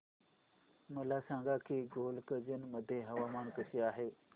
मला सांगा की गोलकगंज मध्ये हवामान कसे आहे